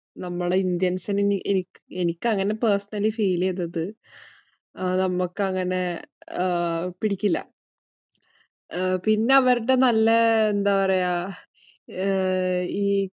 നമ്മുടെ Indian സിന് അങ്ങനെ പിടിക്കില്ല. എനിക്ക് അങ്ങനെ personallyfeel ചെയ്തത്. നമ്മക്ക് അങ്ങനെ പിടിക്കില്ല. പിന്നെ അവരടെ നല്ല എന്താ പറയുക